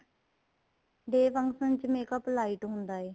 day function ਚ makeup lite ਹੁੰਦਾ ਏ